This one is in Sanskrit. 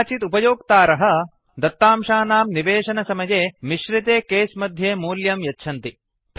कदाचित् उपयोक्तारः दत्तांशानां निवेशनसमये मिश्रिते केस् मध्ये मूल्यं यच्छन्ति